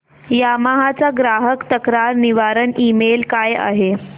Yamaha चा ग्राहक तक्रार निवारण ईमेल काय आहे